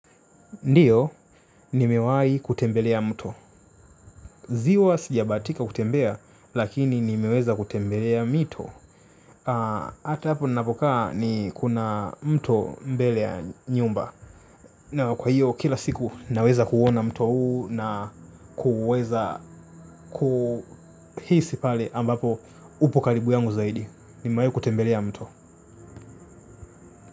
Ndiyo, ni mewai kutembelea mto. Ziwa sijabatika kutembea, lakini ni meweza kutembelea mito. Ata hapo napokaa ni kuna mto mbele ya nyumba. Na kwa hiyo, kila siku naweza kuona mto huu na kuweza kuhisi pale ambapo upo karibu yangu zaidi. Ni mewai kutembelea mto.